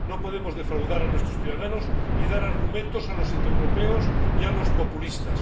No podemos defraudar a nuestros ciudadanos y dar argumentos a los antieuropeos y a los populistas.